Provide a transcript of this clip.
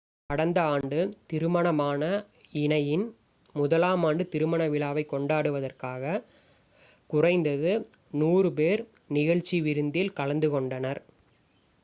கடந்த ஆண்டு திருமணமான இணையின் முதலாமாண்டு திருமண விழாவைக் கொண்டாடுவதற்காக குறைந்தது 100 பேர் நிகழ்ச்சி விருந்தில் கலந்துகொண்டனர்